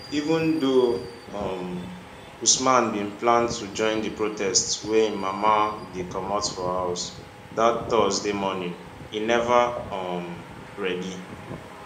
even though um usman bin plan to join di protests wen im mama dey comot house dat thursday morning e neva um ready